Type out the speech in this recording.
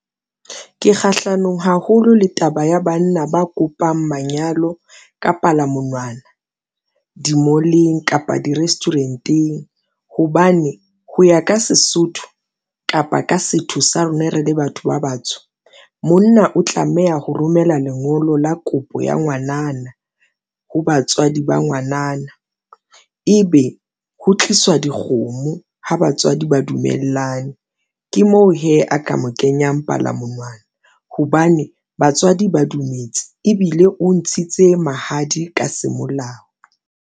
Ke kgahlanong haholo le taba ya banna ba kopang manyalo ka palamonwana, di-mall-eng kapa di-restaurant-eng, hobane ho ya ka Sesotho kapa ka setho sa rona re le batho ba batsho, monna o tlameha ho romela lengolo la kopo ya ngwanana. Ho batswadi ba ngwanana ebe ho tliswa dikgomo ha batswadi ba dumellane. Ke moo hee a ka mo kenyang palamonwana hobane batswadi ba dumetse ebile o ntshitse mahadi ka semolao.